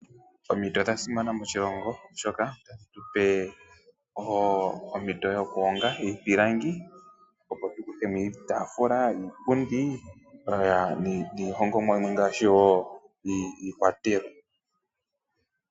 Omiti odha simana moshilongo, oshoka otadhi tu pe ompito yokuhonga iipilangi, opo tu kuthe mo iitaafula, iipundi niihongomwa yimwe ngaashi iikwatelwa.